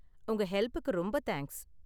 உங்க ஹெல்ப்புக்கு ரொம்ப தேங்க்ஸ்.